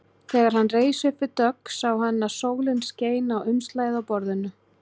Þegar hann reis upp við dogg sá hann að sólin skein á umslagið á borðinu.